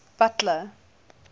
butler